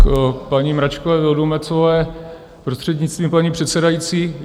K paní Mračkové Vildumetzové, prostřednictvím paní předsedající.